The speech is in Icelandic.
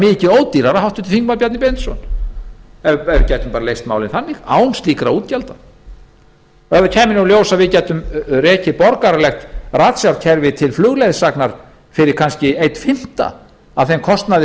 mikið ódýrara háttvirtur þingmaður bjarni benediktsson ef við gætum leyst málin á þann hátt án slíkra útgjalda ef það kæmi nú í ljós að við gætum rekið borgaralegt ratsjárkerfi til flugleiðsagnar fyrir kannski einn fimmti af þeim kostnaði